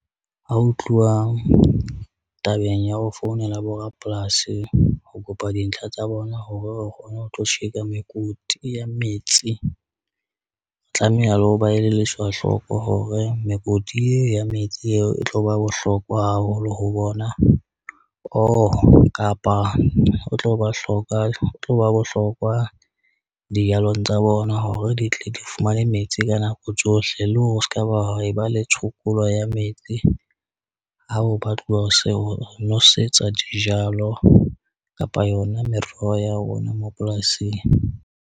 Ha ho tluwa tabeng ya ho founela bo rapolasi ho kopa dintlha tsa bona hore re kgone ho tlo tjheka mekoti ya metsi. Tlameha le ho ba elelliswa hloko hore mekoti ye ya metsi eo e tlo ba bohlokwa haholo ho bona oo kapa o tlo ba hloka, o tlo ba bohlokwa dijalong tsa bona hore di tle di fumane metsi ka nako tsohle. Le hore o skaba e ba le tshokolo ya metsi ao ba tloha ho se ho nosetsa dijalo kapa yona meroho ya rona mapolasing.